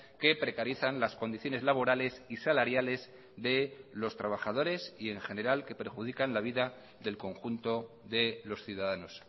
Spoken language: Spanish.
que precarizan las condiciones laborales y salariales de los trabajadores y en general que perjudican la vida del conjunto de los ciudadanos